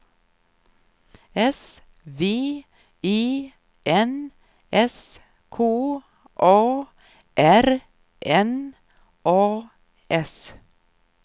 S V E N S K A R N A S